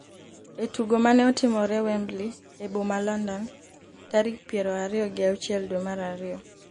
e tugo mane otimore Wembley e boma London tarik piero ariyo gi auchiel dwe mar ariyo.